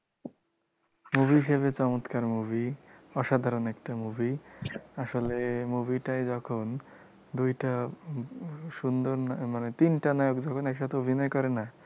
movie হিসেবে চমৎকার movie অসাধারণ একটা movie আসলে movie টায় যখন দুইটা সুন্দর মানে, তিনটা নায়ক যখন একসাথে অভিনয় করেনা,